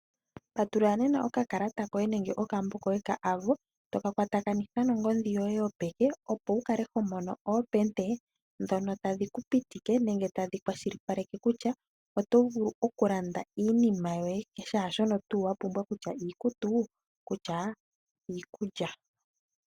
Patulula nena okakalata koye nenge okambo koye koAvo to ka kwatakanitha nongodhi yoye yopeke, opo wu kale ho mono oompete ndhono tadhi ku pitika nenge tadhi kwashilipaleke kutya oto vulu okulanda iinima yoye shaashono tuu wa pumbwa kutya iikutu, kutya iikulya.